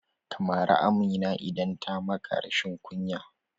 Ka mari Amina idan ta maka rashin kunya!